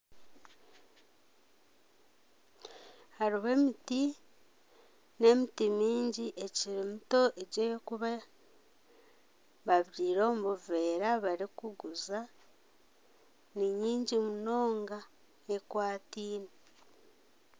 Hariho emiti n'emiti mingi ekiri mito egi ey'okuba babyaire omu buveera barikuguza ni mingi munonga ekwataine